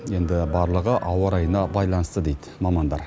енді барлығы ауа райына байланысты дейді мамандар